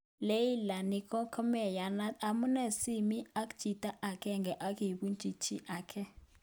Leila:" Ni komeyanat, amune sii imi ak chito age ago ibo chi age